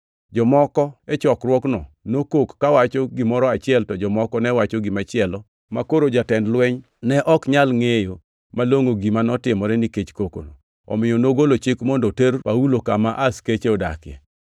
Jomoko e chokruokno nokok kawacho gimoro achiel to jomoko ne wacho gimachielo makoro jatend lweny ne ok nyal ngʼeyo malongʼo gima notimore nikech koko, omiyo nogolo chik mondo oter Paulo kama askeche odakie.